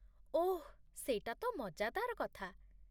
ଓଃ, ସେଇଟା ତ ମଜାଦାର କଥା।